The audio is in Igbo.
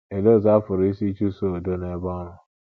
Olee ọzụ a pụrụ isi chụsoo udo n’ebe ọrụ?